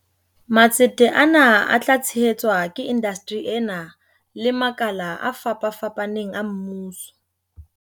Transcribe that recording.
Matsete ana a tla tshehe tswa ke indasteri ena le makala a fapafapaneng a mmuso.